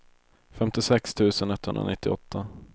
femtiosex tusen etthundranittioåtta